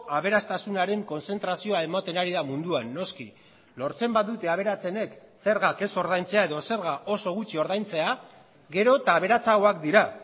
aberastasunaren kontzentrazioa ematen ari da munduan noski lortzen badute aberatsenek zergak ez ordaintzea edo zerga oso gutxi ordaintzea gero eta aberatsagoak dira